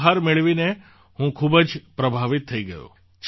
આ ઉપહાર મેળવીને હું ખૂબ જ પ્રભાવિત થઈ ગયો